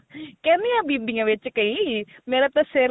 ਕਹਿੰਦਿਆਂ ਬੀਬੀਆਂ ਵਿੱਚ ਕਈ ਮੇਰਾ ਤਾਂ ਸਿਰ ਨੀ